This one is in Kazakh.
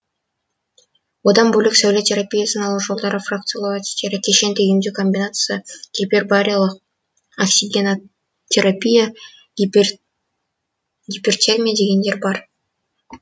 одан бөлек сәуле терапиясын алу жолдары фракциялау әдістері кешенді емдеу комбинациясы гипербариялық оксигенотерапия гипертермия дегендер бар